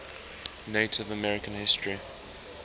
native american history